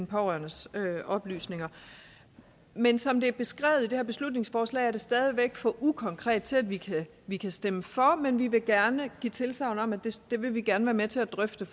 pårørendes oplysninger men som det er beskrevet i det her beslutningsforslag er det stadig væk for ukonkret til at vi vi kan stemme for men vi vil gerne give tilsagn om at det vil vi gerne være med til at drøfte